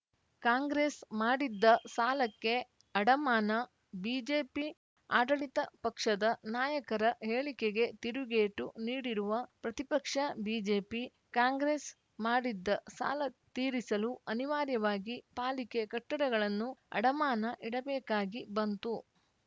ಕಾಂಗ್ರೆಸ್‌ ಮಾಡಿದ್ದ ಸಾಲಕ್ಕೆ ಅಡಮಾನ ಬಿಜೆಪಿ ಆಡಳಿತ ಪಕ್ಷದ ನಾಯಕರ ಹೇಳಿಕೆಗೆ ತಿರುಗೇಟು ನೀಡಿರುವ ಪ್ರತಿಪಕ್ಷ ಬಿಜೆಪಿ ಕಾಂಗ್ರೆಸ್‌ ಮಾಡಿದ್ದ ಸಾಲ ತೀರಿಸಲು ಅನಿವಾರ್ಯವಾಗಿ ಪಾಲಿಕೆ ಕಟ್ಟಡಗಳನ್ನು ಅಡಮಾನ ಇಡಬೇಕಾಗಿ ಬಂತು